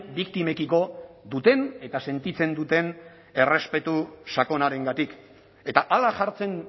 biktimekiko duten eta sentitzen duten errespetu sakonarengatik eta hala jartzen